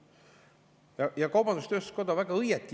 Kaubandus-tööstuskoda väga õieti juhib [sellele tähelepanu.